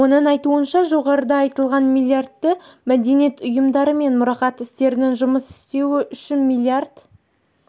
оның айтуынша жоғарыда айтылған миллиарды мәдениет ұйымдары мен мұрағат істерінің жұмыс істеуі үшін миллиард